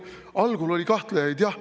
Algul oli kahtlejaid jah.